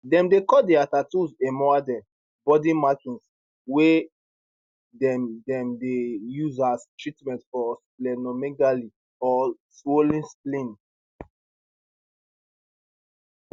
dem dey call dia tattoos emaudeh body markings wey dem dem dey use as treatment for splenomegaly or swollen spleen